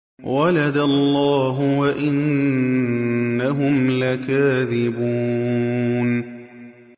وَلَدَ اللَّهُ وَإِنَّهُمْ لَكَاذِبُونَ